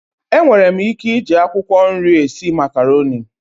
Enwere m ike ije akwụkwọ nri esi makaroni.